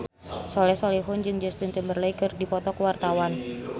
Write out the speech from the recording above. Soleh Solihun jeung Justin Timberlake keur dipoto ku wartawan